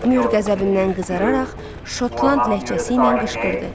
Myur qəzəbindən qızararaq Şotland ləhcəsi ilə qışqırdı.